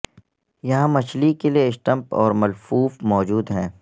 یہاں مچھلی کے لئے سٹمپ اور ملفوف موجود ہیں